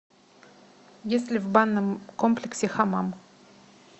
есть ли в банном комплексе хамам